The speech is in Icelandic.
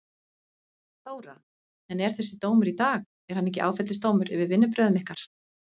Þóra: En er þessi dómur í dag, er hann ekki áfellisdómur yfir vinnubrögðum ykkar?